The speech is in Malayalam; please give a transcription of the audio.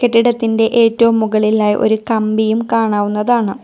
കെട്ടിടത്തിന്റെ ഏറ്റവും മുകളിലായി ഒരു കമ്പിയും കാണാവുന്നതാണ്.